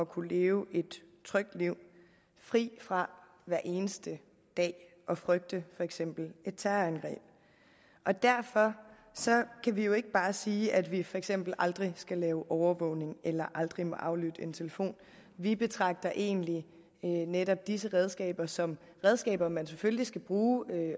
kunne leve et trygt liv fri fra hver eneste dag at frygte for eksempel et terrorangreb og derfor kan vi jo ikke bare sige at vi for eksempel aldrig skal lave overvågning eller aldrig må aflytte en telefon vi betragter egentlig netop disse redskaber som redskaber man selvfølgelig skal bruge